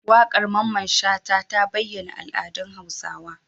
Waƙar Mamman shata ta bayyana al'adun hausawa